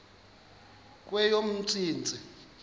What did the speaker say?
kweyomntsintsi